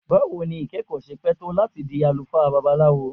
Bawo ni ikẹkọ ṣe pẹ to lati di alufaa Babalawo?